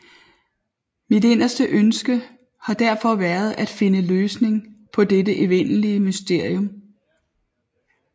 Mit inderste ønske har derfor været at finde løsning på dette evige mysterium